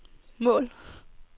mål